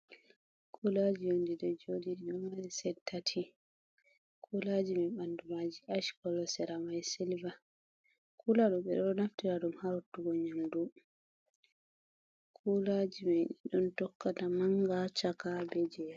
Kulaji on ɗi ɗo joɗi, ɗido mari set tati, kulaji mai ɓanɗu maji ash kolo, sera mai silver, kula ɗo ɓeɗo naftira ɗum ha rottugo nyamdu, kulaji mai ɗiɗon tokkata manga, chaka, be jea.